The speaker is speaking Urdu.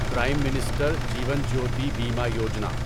پریم منسٹر جیون جیوتی بیمہ یوجنا